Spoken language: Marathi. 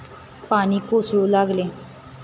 पाणी कोसळू लागले.